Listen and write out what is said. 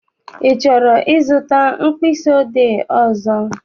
I chọrọ I zụta mkpịsị odee ọzọ?